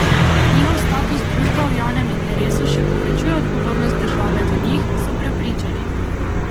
Njihov status društva v javnem interesu še povečuje odgovornost države do njih, so prepričani.